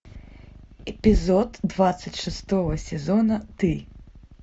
эпизод двадцать шестого сезона ты